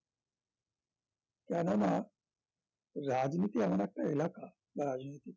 কেননা রাজনীতি এমন একটা এলাকা রাজনীতি